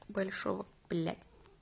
большого блять